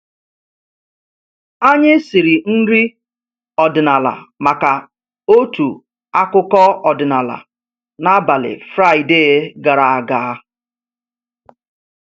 Anyị siri nri ọdịnala maka otu akụkọ ọdịnala n’abalị Fraịde gara aga